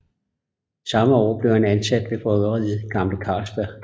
Samme år blev han ansat ved bryggeriet Gamle Carlsberg